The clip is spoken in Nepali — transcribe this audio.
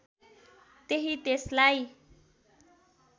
त्यहीँ त्यसलाई